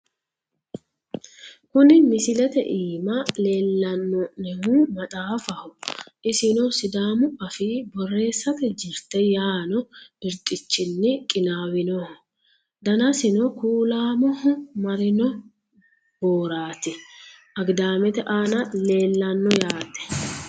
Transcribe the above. kuni misilete iima leellano'nehu maxaafaho isino sidaamu afii borreessate jirte yaanno birxichinni qinaawinoho, danasino kuulaamoho marino booraati, agidaamete aana leellanno yaate.